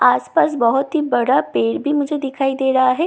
आस-पास बहुत ही बड़ा पेड़ भी मुझे दिखाई दे रहा है बाय तरफ --